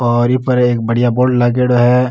और ई पर एक बढ़िया बोर्ड लागेड़ो है।